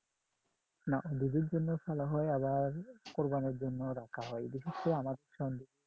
না দুধের জন্য পালা হয় আবার কোরবানির জন্য রাখা হয় বিশেষ করে আমার